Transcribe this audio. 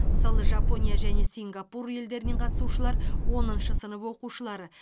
мысалы жапония және сингапур елдерінен қатысушылар оныншы сынып оқушылары